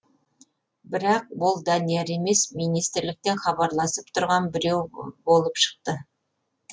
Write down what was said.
бірақ ол данияр емес министрліктен хабарласып тұрған біреу болып шықты